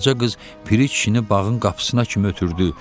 Qaraca qız Piri kişini bağın qapısına kimi ötürdü.